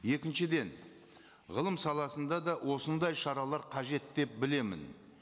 екіншіден ғылым саласында да осындай шаралар қажет деп білемін